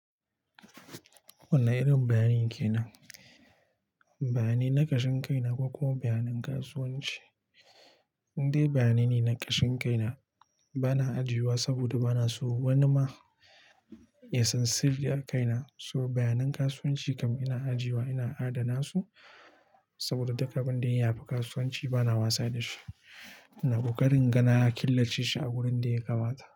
Wane irin bayani kenan nan? Bayanai na ƙashin kai na ko kuma bayanan kasuwanci? Indai bayanai ne na ƙashin kai na ba na ajiyewa saboda ba na so wani ma ya san sirri a kai na. So bayanan kasuwanci kam ina ajiyewa, ina adana su, saboda duk abin da ya shafi kasuwanci bana wasa da shi. Ina ƙoƙarin inga na killace shi a wurin da ya kamata.